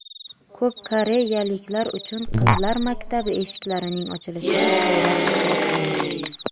Ko‘p koreyaliklar uchun qizlar maktabi eshiklarining ochilishi hayrat uyg‘otgan.